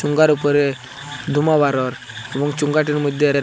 উপরে ধুমা বার হওয়ার এবং চুং গারির মইধ্যে--